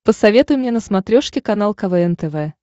посоветуй мне на смотрешке канал квн тв